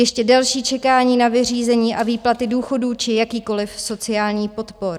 Ještě delší čekání na vyřízení a výplaty důchodů či jakýchkoliv sociálních podpor.